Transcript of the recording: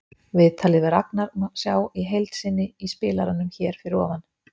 Viðtalið við Ragnar má sjá í heild sinni í spilaranum hér fyrir ofan.